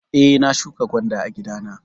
Eh, na shuƙa gwanda a gida na.